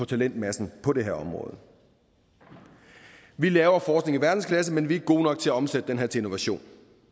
talentmassen på det her område vi laver forskning i verdensklasse men vi er ikke gode nok til at omsætte den til innovation